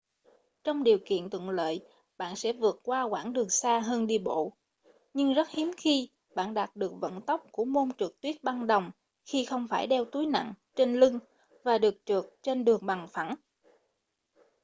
trong điều kiện thuận lợi bạn sẽ vượt qua quãng đường xa hơn đi bộ nhưng rất hiếm khi bạn đạt được vận tốc của môn trượt tuyết băng đồng khi không phải đeo túi nặng trên lưng và được trượt trên đường bằng phẳng